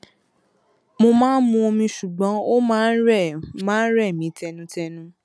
mo máa ń mu omi ṣùgbọn ó máa ń rẹ máa ń rẹ mí tẹnutẹnu